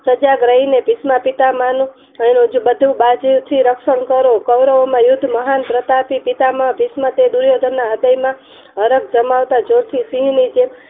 સજાગ રહીને ભીસમપિતામહઃ ની બધથી રક્ષણ કરો કોવરમોમાં મહાન પ્રસાર થી પિતામહ ભીસમ તે દુર્યોધન ના હૃદય માં હરખ જમાવતા જોથી